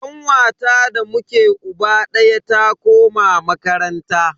Kanwata da muke uba daya ta koma makaranta.